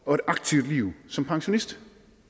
og aktivt liv som pensionist